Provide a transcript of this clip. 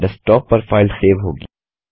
desktop पर file save होगी